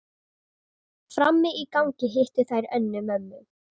Frammi í gangi hittu þær Önnu, mömmu